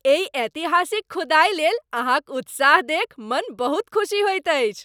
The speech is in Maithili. एहि ऐतिहासिक खुदाइलेल अहाँक उत्साह देखि मन बहुत खुसी होइत अछि।